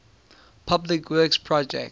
public works projects